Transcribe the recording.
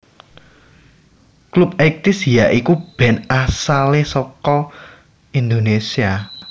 Clubeighties ya iku band asale saka Indonesia